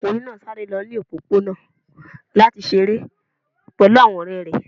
Ọmọkunrin naa sare lọ ni opopona lati ṣere pẹlu awọn ọrẹ rẹ